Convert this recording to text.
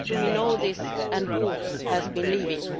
Do we know this, and who has been leaving?